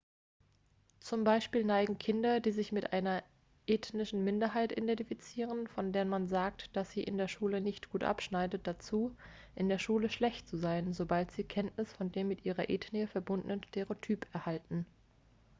zum beispiel neigen kinder die sich mit einer ethnischen minderheit identifizieren von der man sagt dass sie in der schule nicht gut abschneidet dazu in der schule schlecht zu sein sobald sie kenntnis von dem mit ihrer ethnie verbundenen stereotyp erhalten